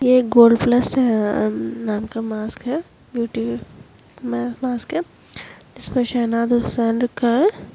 ये gold plus नाम का मास्क हैं ब्यूटी म-मास्क हैं इसमें शहनाज़ हुसैन लिखा हैं।